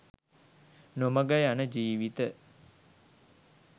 නොමඟ යන ජීවිත